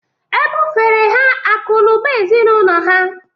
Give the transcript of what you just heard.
E bufere ha akụ̀ na ụba ezinụlọ ha